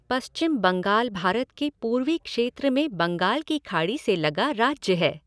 पश्चिम बंगाल भारत के पूर्वी क्षेत्र में बंगाल की खाड़ी से लगा राज्य है।